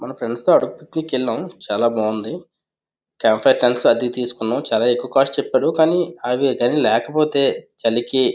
మొన్న ఫ్రెండ్స్ తో అరకుకి వెళ్ళాము చాలా బాగుంది క్యాంప్ ఫైర్ అది తీసుకున్నాము చాలా ఎక్కువ కాస్ట్ చెప్పారు కానీ అది కానీ లేకపోతే చలికి --